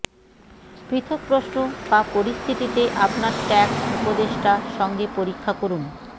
পৃথক প্রশ্ন বা পরিস্থিতিতে আপনার ট্যাক্স উপদেষ্টা সঙ্গে পরীক্ষা করুন